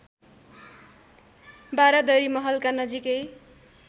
बारादरी महलका नजिकै